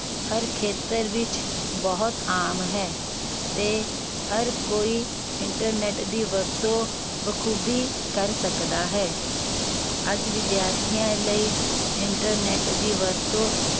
ਹਰ ਖੇਤਰ ਵਿਚ ਬਹੁਤ ਆਮ ਹੈ ਤੇ ਹਰ ਕੋਈ internet ਦੀ ਵਰਤੋਂ ਬਖੂਬੀ ਕਰ ਸਕਦਾ ਹੈ ਅੱਜ ਵਿਧਿਆਰਥੀਆਂ ਲਈ internet ਦੀ ਵਰਤੋਂ